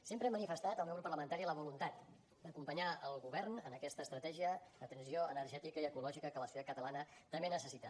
sempre ha manifestat el meu grup parlamentari la voluntat d’acompanyar el govern en aquesta estratègia de transició energètica i ecològica que la societat catalana també necessita